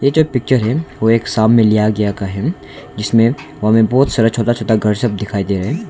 जो पिच्चर है ओ एक शाम मे लिया गया का है जिसमे वहां में बहोत सारा छोटा छोटा घर सब दिखाई दे रहा है।